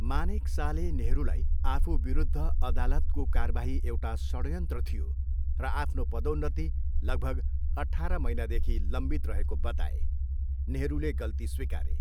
मानेकसाले नेहरूलाई आफूविरुद्ध अदालतको कारबाही एउटा षड्यन्त्र थियो र आफ्नो पदोन्नति लगभग अठार महिनादेखि लम्बित रहेको बताए, नेहरूले गल्ती स्विकारे।